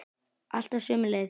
Alltaf sömu leið.